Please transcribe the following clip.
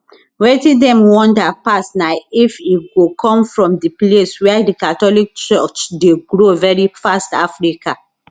wetin dem wonder pass na if e go come from di place wia di catholic church dey grow veri fast africa